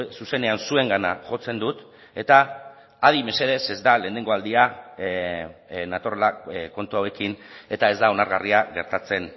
zuzenean zuengana jotzen dut eta adi mesedez ez da lehenengo aldia natorrela kontu hauekin eta ez da onargarria gertatzen